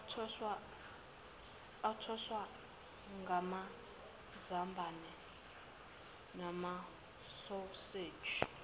athoswe ngamazambane namasoseji